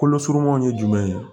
Kolo surumanw ye jumɛn ye